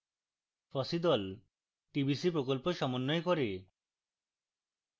fossee the tbc প্রকল্প সমন্বয় করে